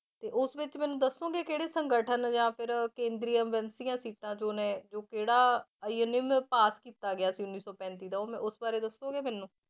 ਤੇ ਉਸ ਵਿੱਚ ਮੈਨੂੰ ਦੱਸੋਂਗੇ ਕਿਹੜੇ ਸੰਗਠਨ ਜਾਂ ਫਿਰ ਕੇਂਦਰੀ ਸੀਟਾਂ ਜੋ ਨੇ ਜੋ ਕਿਹੜਾ ਅਧਿਨਿਯਮ ਪਾਸ ਕੀਤਾ ਗਿਆ ਸੀ ਉੱਨੀ ਸੌ ਪੈਂਤੀ ਦਾ ਉਸ ਬਾਰੇ ਦੱਸੋਗੇ ਮੈਨੂੰ?